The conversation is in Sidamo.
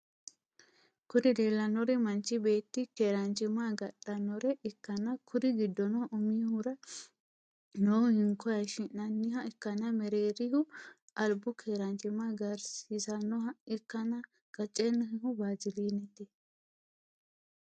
Kuri leellannori manchi beetti keeranchimma agadhannore ikkanna kuri giddono umihura noohu hinko hayishshi'nanniha ikkanna mereerihu albu keeranchima agarsiisannoha ikkanna qaccennihu waazilinete.